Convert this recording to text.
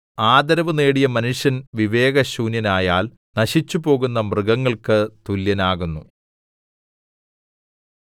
ആദരവ് നേടിയ മനുഷ്യൻ വിവേക ശൂന്യനായാൽ നശിച്ചുപോകുന്ന മൃഗങ്ങൾക്ക് തുല്യനാകുന്നു